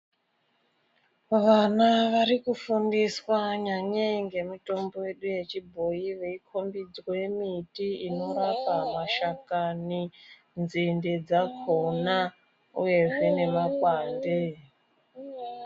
Vana varikufundiswa nyanyii ngemitombo yedu yechibhoyi kukombodzwe miti inorapa mashakani, nzinde dzakona, uyezve nemakwande.